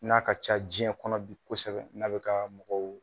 N'a ka ca jiɲɛ kɔnɔ bi kosɛbɛ n'a be ka mɔgɔw